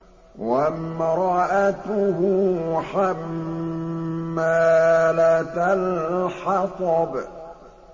وَامْرَأَتُهُ حَمَّالَةَ الْحَطَبِ